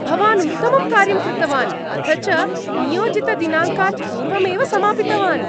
भवान् उत्तमं कार्यं कृतवान् अथ च नियोजितदिनाङ्कात् पूर्वमेव समापितवान्।